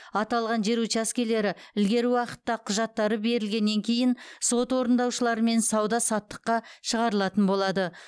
аталған жер учаскелері ілгері уақытта құжаттары берілгеннен кейін сот орындаушыларымен сауда саттыққа шығарылатын болады